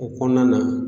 O kɔnɔna na